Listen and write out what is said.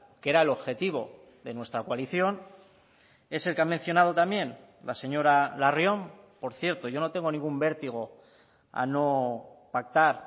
que era el objetivo de nuestra coalición es el que ha mencionado también la señora larrion por cierto yo no tengo ningún vértigo a no pactar